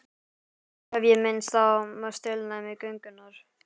Áður hef ég minnst á heilnæmi göngunnar.